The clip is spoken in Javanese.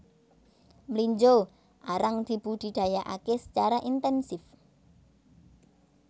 Mlinjo arang dibudidayakké sacara intènsif